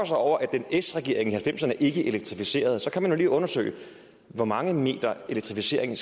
sig over at den s regering i nitten halvfemserne ikke elektrificerede kan man jo lige undersøge hvor mange meters elektrificering